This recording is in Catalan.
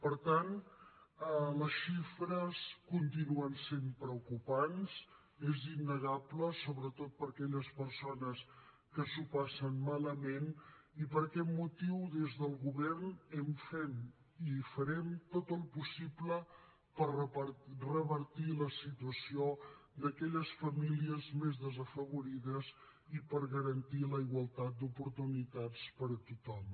per tant les xifres continuen sent preocupants és innegable sobretot per a aquelles persones que s’ho passen malament i per aquest motiu des del govern fem i farem tot el possible per revertir la situació d’aquelles famílies més desafavorides i per garantir la igualtat d’oportunitats per a tothom